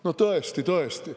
No tõesti-tõesti.